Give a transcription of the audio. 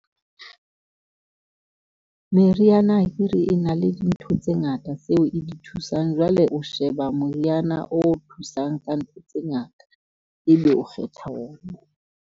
Meriana akere e na le dintho tse ngata tseo e di thusang. Jwale o sheba moriana o thusang ka ntho tse ngata, ebe o kgetha ona.